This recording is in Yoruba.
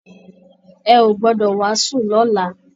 Ẹ ò gbọdọ wàásù lọ́la!